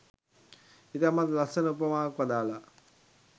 ඉතාමත් ලස්සන උපමාවක් වදාළා.